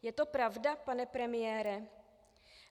Je to pravda, pane premiére?